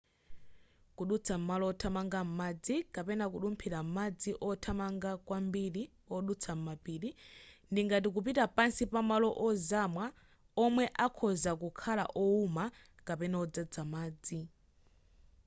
kudutsa m'malo othamanga madzi kapena: kudumphira m'madzi othamanga kwambiri odutsa m'mapiri ndi ngati kupita pansi pa malo ozama omwe akhoza kukhala owuma kapena odzadza madzi